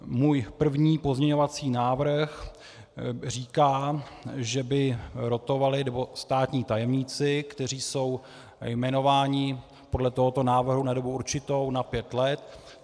Můj první pozměňovací návrh říká, že by rotovali státní tajemníci, kteří jsou jmenováni podle tohoto návrhu na dobu určitou na pět let.